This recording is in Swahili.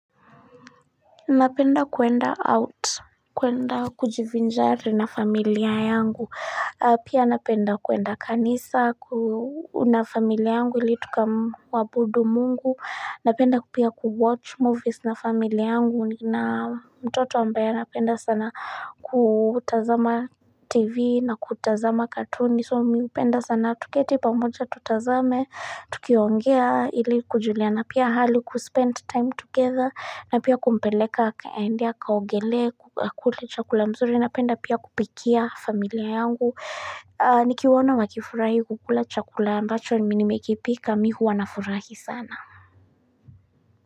Napenda kuenda out kuenda kujivinjari na familia yangu pia napenda kuenda kanisa na familia yangu ili tukamwabudu mungu napenda pia kuwatch movies na familia yangu nina mtoto ambaye napenda sana kutazama tv na kutazama katuni so mi hupenda sana tuketi pamoja tutazame tukiongea ili kujuliana pia hali kuspend time together na pia kumpeleka aende kaogele akule chakula mzuri napenda pia kupikia familia yangu Nikiwaona wakifurahi kukula chakula ambacho ni mimi nimekipika mi huwa nafurahi sana.